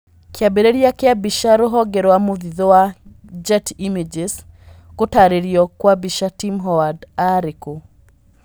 Kĩambĩrĩria kĩa mbica rũhonge rwa mũthithũ wa Getty images, gũtarĩrio kwa mbica Tim Howard arĩ kũ?